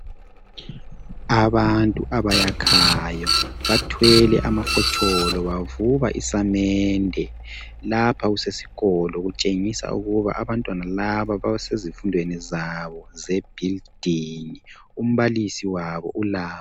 Abantu abayakhayo. Bathwele amafotsholo. Bavuba isamende. Lapha kusesikolo. Kutshengisa ukuba abantwana laba basezifundweni zabo zebuilding. Umbalisi wabo, ulabo.